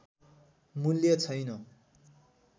मूल्य छैन